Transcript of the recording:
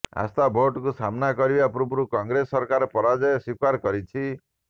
ଆସ୍ଥା ଭୋଟକୁ ସାମ୍ନା କରିବା ପୂର୍ବରୁ କଂଗ୍ରେସ ସରକାର ପରାଜୟ ସ୍ବୀକାର କରିଛି